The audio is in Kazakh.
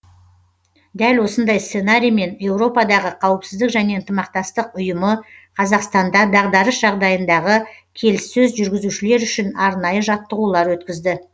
дәл осындай сценариймен еуропадағы қауіпсіздік және ынтымақтастық ұйымы қазақстанда дағдарыс жағдайындағы келіссөз жүргізушілер үшін арнайы жаттығулар өткізді